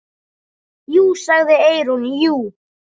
Jú, sagði Eyrún, jú.